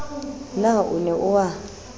na o ne o a